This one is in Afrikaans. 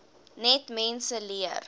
net mense leer